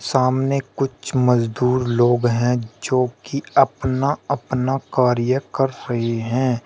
सामने कुछ मजदूर लोग हैं जो कि अपना अपना कार्य कर रहे हैं।